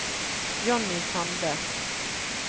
Jonny Sande